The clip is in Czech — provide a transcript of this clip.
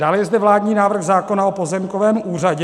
Dále je zde vládní návrh zákona o pozemkovém úřadě.